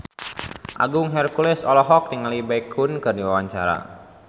Agung Hercules olohok ningali Baekhyun keur diwawancara